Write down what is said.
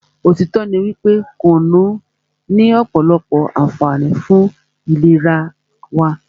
òtítọ́ ní wípé kùnú ní ọ̀pọ̀lọpọ̀ ànfààní fún ìlera wa.